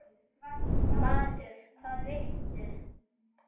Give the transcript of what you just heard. Matur: Hvað viltu?